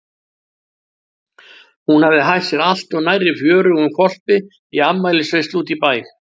Hún hafði hætt sér allt of nærri fjörugum hvolpi í afmælisveislu úti í bæ.